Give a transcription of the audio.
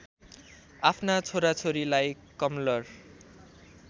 आफ्ना छोराछोरीलाई कमलर